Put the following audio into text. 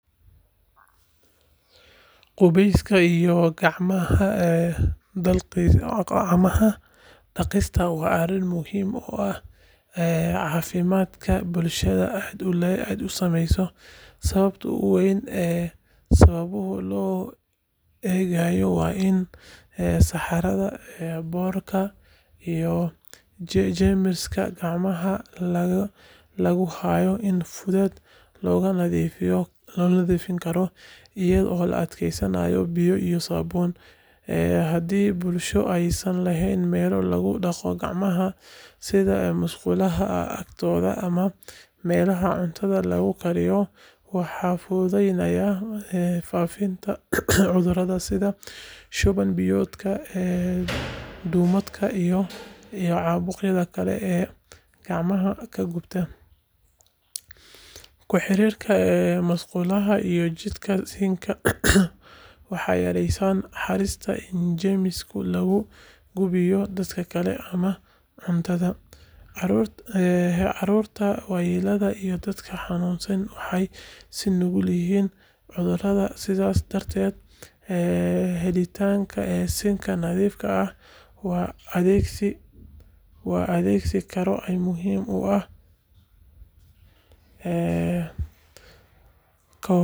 Qubeyska iyo gacmaha dhaqista waa arrin muhiim ah oo caafimaadka bulshada aad u saameeya. Sababta ugu weyn ee sababtaas loo eegayo waa in saxarada, boodhka, iyo jeermiska gacmaha lagu hayo si fudud looga nadiifin karo iyadoo la adeegsanayo biyo iyo saabuun. Haddii bulsho aysan lahayn meelo lagu dhaqo gacmaha sida musqulaha agtooda ama meelaha cuntada lagu kariyo, waxaa fududaanaya faafitaanka cudurrada sida shuban-biyoodka, duumada, iyo caabuqyada kale ee gacmaha ku gudba. Ku xirnaanta musqulaha iyo jikada sinks-ka waxay yareyneysaa halista in jeermis lagu gudbiyo dadka kale ama cuntada. Carruurta, waayeelka, iyo dadka xanuunsan waxay u nugul yihiin cudurradaas, sidaas darteedna, helitaanka sinks nadiif ah oo la adeegsan karo ayaa muhiim u ah ka hortagga cudurrada faafa.